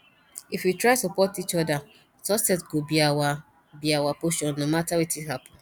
if we try support each other success go be our be our portion no matter wetin happen